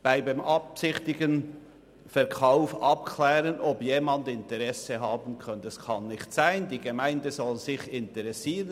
Beim beabsichtigten Verkauf abzuklären, ob jemand Interesse habe: Das kann nicht sein, die Gemeinde soll sich interessieren.